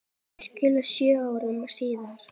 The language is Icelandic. Þau skildu sjö árum síðar.